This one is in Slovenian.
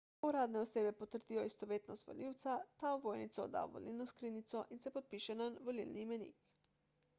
ko uradne osebe potrdijo istovetnost volivca ta ovojnico odda v volilno skrinjico in se podpiše na volilni imenik